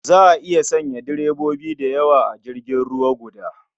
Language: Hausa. Za a iya sanya direbobi da yawa a jirgin ruwa guda.